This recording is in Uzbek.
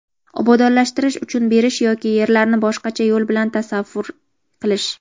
obodonlashtirish uchun berish yoki yerlarni boshqacha yo‘l bilan tasarruf qilish;.